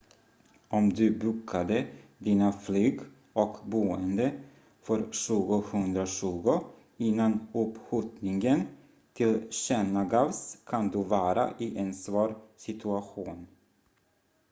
om du bokade dina flyg och boende för 2020 innan uppskjutningen tillkännagavs kan du vara i en svår situation